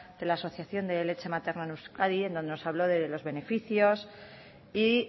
de la asociación de leche materna en euskadi en donde nos habló de los beneficios y